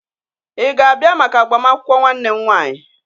Ị ga-abịa maka agbamakwụkwọ nwanne m nwanyị?